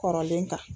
Kɔrɔlen kan